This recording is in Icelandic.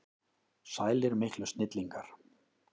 Sælir miklu snillingar!